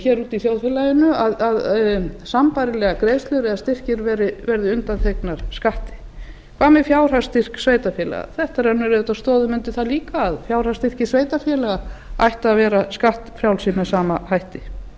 hér úti í þjóðfélaginu að sambærilegar greiðslur eða styrkir verði undanþegnar skatti hvað með fjárhagsstyrk sveitarfélaga þetta rennir auðvitað stoðum undir það líka að fjárhagsstyrkir sveitarfélaga ættu að vera skattfrjálsir með sama hætti